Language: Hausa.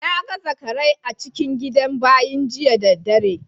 Na gan zakarai a cikin gidan bayin jiya da dare.